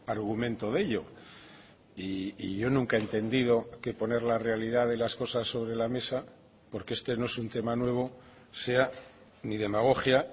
argumento de ello y yo nunca he entendido que poner la realidad de las cosas sobre la mesa porque este no es un tema nuevo sea ni demagogia